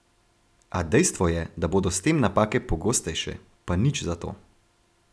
A dejstvo je, da bodo s tem napake pogostejše, pa nič za to.